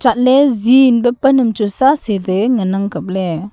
patle zee ento pannang chu sa sele nganang kaple.